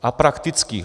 A praktických.